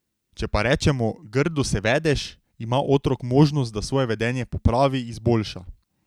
Če pa rečemo: 'Grdo se vedeš,' ima otrok možnost, da svoje vedenje popravi, izboljša ...